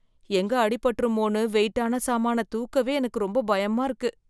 எங்க அடிபட்டுருமோன்னு வெயிட்டான சாமானத்த தூக்கவே எனக்கு ரொம்ப பயமா இருக்கு.